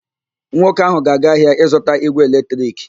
Nwoke ahụ ga-aga ahịa ịzụta ígwè eletrik.